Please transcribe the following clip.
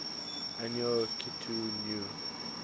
annual akitu new